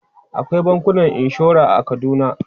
Akwai bankunan inshora a Kaduna.